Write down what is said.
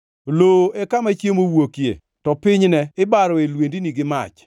Lowo e kama chiemo wuokie, to pinyne ibaroe lwendni gi mach.